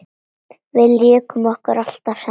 Við lékum okkur alltaf saman.